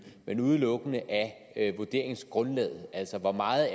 men udelukkende af vurderingsgrundlaget altså hvor meget